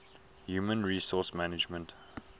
human resource management